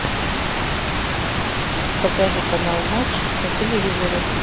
покажи канал матч на телевизоре